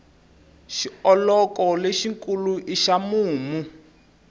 xioloko lexi kulu i xa mumu